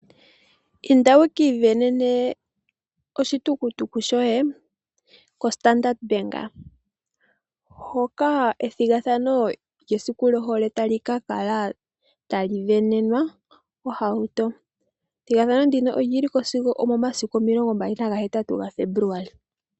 Inda wu ki isindanene oshitukututuku shoye kombaanga yo Standard hoka ethigathano lyesiku lyohole tali ka kala tali sindanenwa ohauto. Ethigathano ndino oli li ko sigo omomasiku omilongombali nagahetatu gaFebuluali.